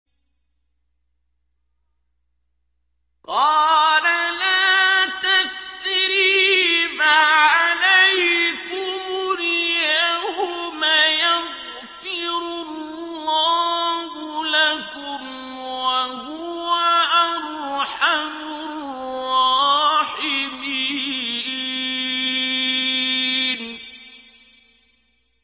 قَالَ لَا تَثْرِيبَ عَلَيْكُمُ الْيَوْمَ ۖ يَغْفِرُ اللَّهُ لَكُمْ ۖ وَهُوَ أَرْحَمُ الرَّاحِمِينَ